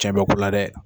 Cɛn bɛ ko la dɛ